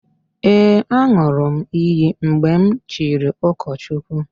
Ee, an̄ụrụ m iyi mgbe m chiri ụkọchukwu.